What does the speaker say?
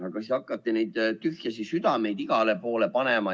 Aga siis hakati neid tühje südameid igale poole panema.